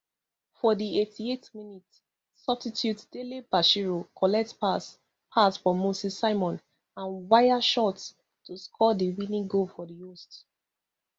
for di eighty-eight minutes substitute dele bashiru collect pass pass from moses simon and waya shot to score di winning goal for di host